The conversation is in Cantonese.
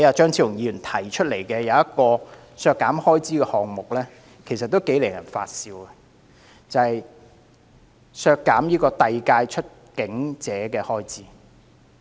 張超雄議員提出的另一項削減開支修正案，同樣令人發笑。就是削減遞解出境者的預算開支。